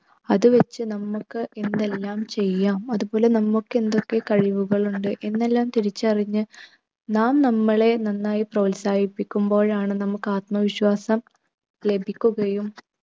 അത് വച്ച് നമുക്ക് എന്തെല്ലാം ചെയ്യാം അതുപോലെ നമുക്കെന്തൊക്കെ കഴിവുകൾ ഉണ്ട് എന്നെല്ലാം തിരിച്ചറിഞ്ഞ് നാം നമ്മളെ നന്നായി പ്രോത്സാഹിപ്പിക്കുമ്പോഴാണ് നമുക്ക് ആത്മവിശ്വാസം ലഭിക്കുകയും